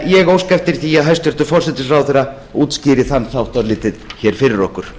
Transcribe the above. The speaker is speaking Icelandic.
ég óska eftir því að hæstvirtur forsætisráðherra útskýri þann þátt örlítið hér fyrir okkur